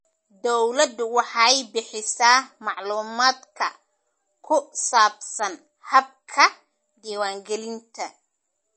Dawladdu waxay bixisaa macluumaadka ku saabsan habka diiwaangelinta.